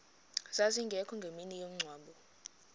zazingekho ngemini yomngcwabo